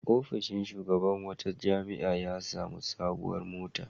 Ofishin shugaban wata jami'a ya sami sabuwar mota.